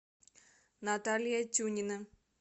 наталья тюнина